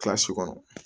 Kilasi kɔnɔ